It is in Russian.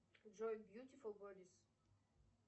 джой бьютифул бодис